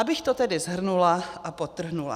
Abych to tedy shrnula a podtrhla.